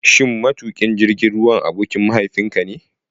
Shin matuƙin jirgin ruwan abokin mahaifinka ne?